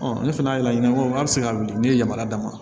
ne fana y'a laɲini ko a bi se ka wuli ne ye yamaruya d'a ma